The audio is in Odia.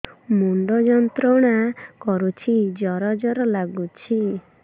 ମୁଣ୍ଡ ଯନ୍ତ୍ରଣା କରୁଛି ଜର ଜର ଲାଗୁଛି